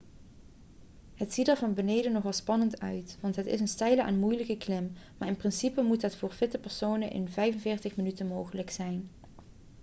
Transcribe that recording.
het ziet er van beneden nogal spannend uit want het is een steile en moeilijke klim maar in principe moet het voor fitte personen in 45 minuten mogelijk zijn